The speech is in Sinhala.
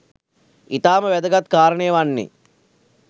ඉතාම වැදගත් කාරණය වන්නේ